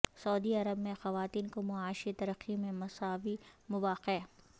سعودی عرب میں خواتین کو معاشی ترقی میں مساوی مواقع